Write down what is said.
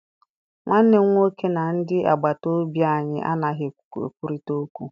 Nwanne m nwoke na ndị agbata obi anyị anaghị ekwurịta okwu.